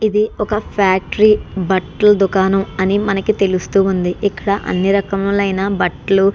ఇది ఒక ఫ్యాక్టరీ . బట్టల దుకాణం అని మనకి తెలుస్తుంది. ఇక్కడ అన్ని రకములైన బట్టలు --